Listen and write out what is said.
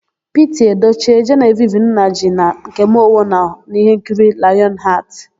Piti Edoche, Jenevivi Nnaji na Nkem Owo nọ n'íhénkiri Layọn Hatị.